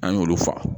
An y'olu fa